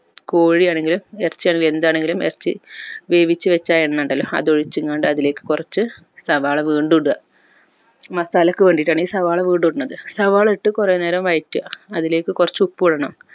കോഴി ആണെങ്കിലും എർച്ചി ആണെങ്കിലും എന്താണെങ്കിലും എർച്ചി വേവിച്ചു വെച്ച ആ എണ്ണ ഇണ്ടല്ലോ അത് ഒഴിചിങ്ങാണ്ട് അതിലേക്ക് കൊർച്ച് സവാള വീണ്ടും ഇട masala ക്ക് വേണ്ടിട്ടാണ് ഈ സവാള വീണ്ടും ഇടുന്നത് സവാള ഇട്ട് കൊറെ നേരം വയറ്റ അതിലേക്ക് കൊർച്ച് ഉപ്പും ഇടണം